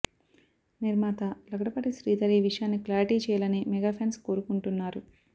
నిర్మాత లగడపాటి శ్రీధర్ ఈ విషయాన్ని క్లారిటీ చేయాలని మెగా ఫ్యాన్స్ కోరుకుంటున్నారు